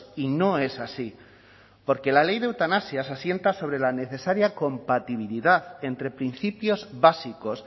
y no es así porque la ley de eutanasia se asienta sobre la necesaria compatibilidad entre principios básicos